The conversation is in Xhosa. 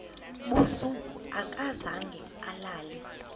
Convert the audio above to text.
busuku akazange alale